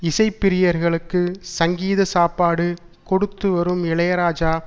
இசை ப்ரியர்களுக்கு சங்கீத சாப்பாடு கொடுத்து வரும் இளையராஜா